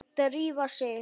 Drífa sig